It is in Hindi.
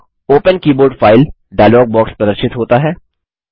open keyboard file dialog box प्रदर्शित होता है